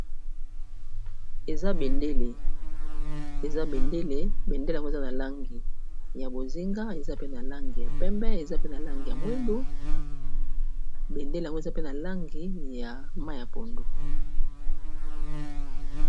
Eza bendele, eza bendele yango eza na langi ya bozinga eza pe na langi ya pembe eza pe na langi ya mwindu bendele yango eza pe na langi ya mayi ya pondu.